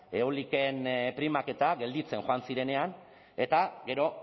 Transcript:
eolikoen primak eta gelditzen joan zirenean eta gero